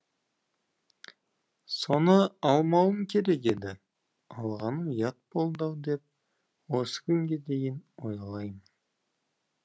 соны алмауым керек еді алғаным ұят болды ау деп осы күнге дейін ойлаймын